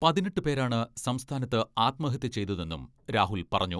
പതിനെട്ട് പേരാണ് സംസ്ഥാനത്ത് ആത്മഹത്യ ചെയ്തതെന്നും രാഹുൽ പറഞ്ഞു.